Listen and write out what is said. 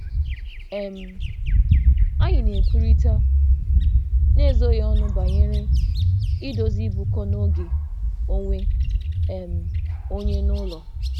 Anyị na-ekwurịta n'ezoghị ọnụ banyere idozi ịbụkọ na oge onwe onye n'ụlọ.